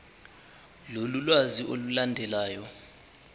lolu lwazi olulandelayo